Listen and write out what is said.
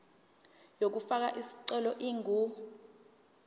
yokufaka isicelo ingu